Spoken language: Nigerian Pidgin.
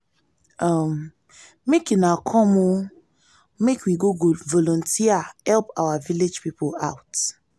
um make una come o um make we go volunteer help our village people out